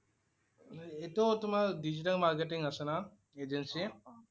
এইটো তোমাৰ digital marketing আছে না। Agency